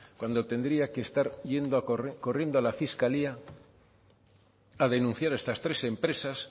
cuando tendría que estar yendo corriendo a la fiscalía a denunciar a estas tres empresas